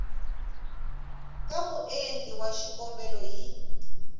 ka muendli wa xikombelo hi